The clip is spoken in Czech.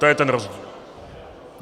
To je ten rozdíl.